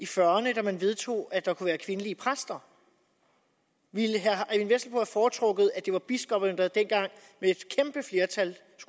fyrrerne da man vedtog at der kunne være kvindelige præster ville herre eyvind vesselbo have foretrukket at det var biskopperne der dengang